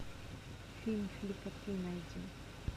фильм филька три найди